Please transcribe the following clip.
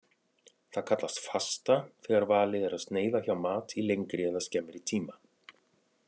Það kallast fasta þegar valið er að sneiða hjá mat í lengri eða skemmri tíma.